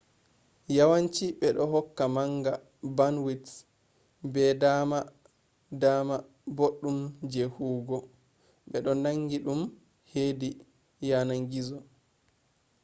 yawanci bedohokka manga bandwidth be dama dama boddum je huwugo. bedo nangi dum hedi yanan gizo